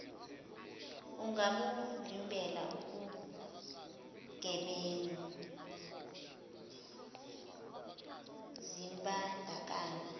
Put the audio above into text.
ungabuvimbela ukugebengu zimbandakanye